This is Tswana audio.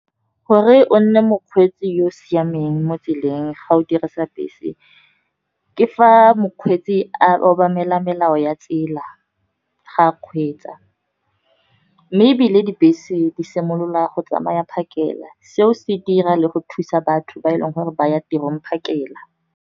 Gore o nne mokgweetsi yo o siameng mo tseleng ga o dirisa bese, ke fa mokgweetsi a obamela melao ya tsela ga a kgweetsa. Mme ebile dibese di simolola go tsamaya phakela, seo se dira le go thusa batho ba e leng gore ba ya tirong phakela.